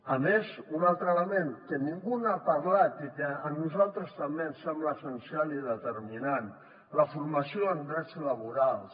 a més un altre element que ningú n’ha parlat i que a nosaltres també ens sembla essencial i determinant la formació en drets laborals